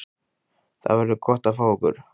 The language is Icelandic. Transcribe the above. Það verður gott að fá ykkur.